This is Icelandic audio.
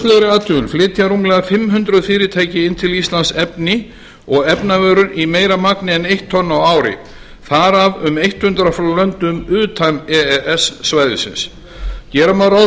lauslegri athugun flytja rúmlega fimmhundruð fyrirtæki inn til íslands efni og efnavörur í meira magni en eitt tonn á ári þar af um eitthundrað frá löndum utan e e s svæðisins gera má ráð